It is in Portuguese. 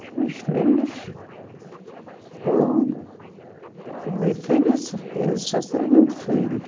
Os meus filhos... Foram... O meu filho, eu só tenho um filho.